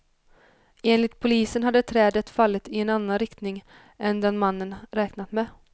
Enligt polisen hade trädet fallit i en annan riktning än den mannen räknat med.